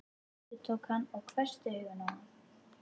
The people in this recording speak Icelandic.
endurtók hann og hvessti augun á hana.